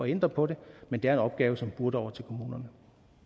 ændre på det men det er en opgave som burde over til kommunerne